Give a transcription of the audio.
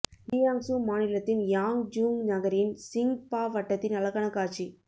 Jiang சூ மாநிலத்தின் Yangzhong நகரின் சிங் பா வட்டத்தின் அழகான காட்சி